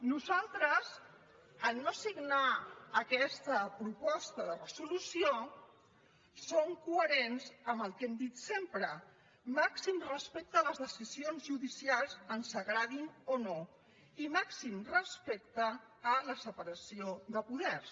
nosaltres al no signar aquesta proposta de resolució som coherents amb el que hem dit sempre màxim respecte a les decisions judicials ens agradin o no i màxim respecte a la separació de poders